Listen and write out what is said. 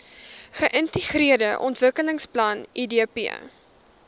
geintegreerde ontwikkelingsplan idp